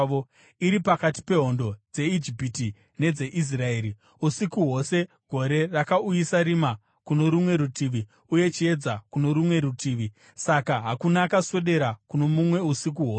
iri pakati pehondo dzeIjipiti nedzeIsraeri. Usiku hwose gore rakauyisa rima kuno rumwe rutivi uye chiedza kuno rumwe rutivi; saka hakuna akaswedera kuno mumwe usiku hwose.